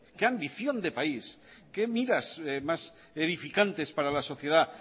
qué ambición de país qué miras más edificantes para la sociedad